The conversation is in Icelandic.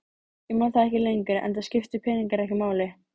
Ég man það ekki lengur enda skiptu peningar ekki máli.